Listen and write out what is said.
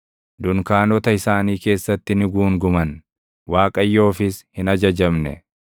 Dunkaanota isaanii keessatti ni guunguman; Waaqayyoofis hin ajajamne.